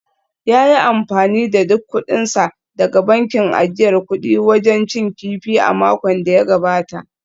Ya yi amfani da duk kudinsa daga bankin ajiyar kudi wajen cin kifi a makon da ya gabata